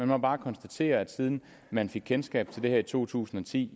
må bare konstatere at siden man fik kendskab til det her i to tusind og ti